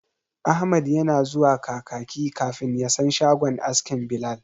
Ahmad yana zuwa Kakaki kafin ya san shagon askin Bilal.